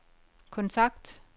kontakt